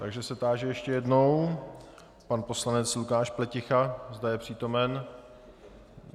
Takže se táži ještě jednou, pan poslanec Lukáš Pleticha, zda je přítomen.